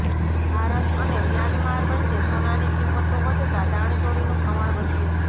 ભારત અને મ્યાંમાર વચ્ચે સોનાની કિંમતો વધતા દાણચોરીનું પ્રમાણ વધ્યું